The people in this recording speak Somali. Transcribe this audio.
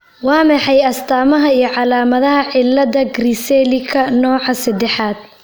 Waa maxay astaamaha iyo calaamadaha cillada Griscellika nooca sedexad?